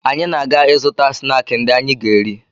Anyị na-aga ịzụta snaakị ndị anyị ga-eri